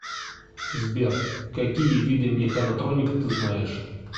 сбер какие виды механотроника ты знаешь